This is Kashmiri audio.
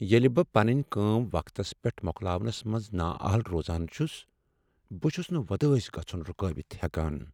ییٚلہ بہٕ پنٕنۍ کٲم وقتس پیٹھ مۄکلاونَس منز نااہل روزان چھٗس ، بہٕ چھٗس نہٕ وۄدٲسۍ گژھٗن رٗكٲوِتھ ہیكان ۔